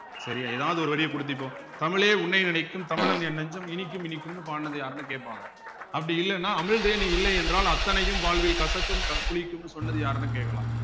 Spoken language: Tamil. சரியா ஏதாவது ஒரு வரியைக் கொடுத்து இப்போ தமிழே உன்னை நினைக்கும் தமிழன் என் நெஞ்சம் இனிக்கும் இனிக்கும்ன்னு பாடுனது யாருன்னு கேப்பாங்க அப்படி இல்லைன்னா அமிழ்தே நீ இல்லை என்றால் அத்தனையும் வாழ்வில் கசக்கும் க புளிக்கும்ன்னு சொன்னது யாருன்னு கேட்கலாம்